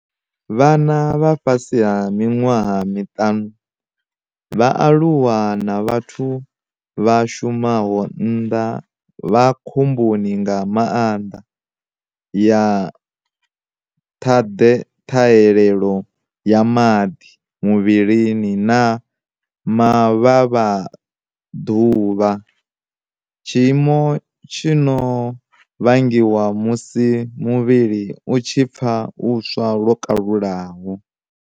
Vhana vha miṅwaha ya fhasi ha miṱanu, vhaaluwa na vhathu vha shumaho nnḓa vha khomboni nga maanḓa ya ṱhahelelo ya maḓi muvhilini na mavhavhaḓuvha tshiimo tshi no vhangiwa musi mu-vhili u tshi pfa u swa lwo kalulaho.